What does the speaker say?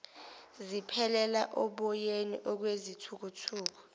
ziphelela oboyeni okwezithukuthuku